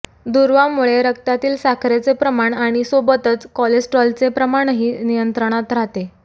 दुर्वामुळे रक्तातील साखरेचे प्रमाण आणि सोबतच कोलेस्ट्रेरॉलचे प्रमाणही नियंत्रणात राहते